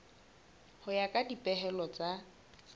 ho ya ka dipehelo tsa